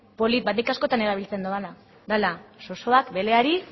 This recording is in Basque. polit bat nik askotan erabiltzen dudana dela zozoak beleari